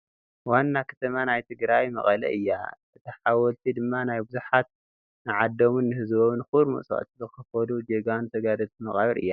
ዋና ከተማ ናይ ትግራይ መቐለ እያ፡፡ እታ ሓወልቲ ድማ ናይ ብዙሓት ንዓዶምን ንህዝቦም ክቡር መስዋእቲ ዝኸፈሉ ጀጋኑ ተጋደልቲ መቓብር እዩ፡፡